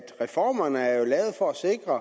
reformerne er jo lavet for at sikre